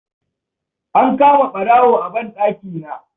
An kama ɓarawo a banɗaki.